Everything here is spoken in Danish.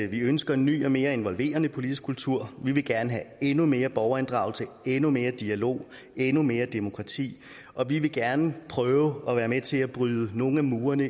vi ønsker en ny og mere involverende politisk kultur vi vil gerne have endnu mere borgerinddragelse endnu mere dialog endnu mere demokrati og vi vil gerne prøve at være med til at bryde nogle af murene